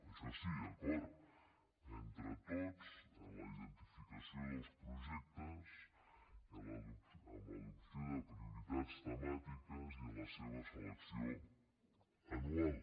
això sí acord entre tots en la identificació dels projectes en l’adopció de prioritats temàtiques i en la seva selecció anual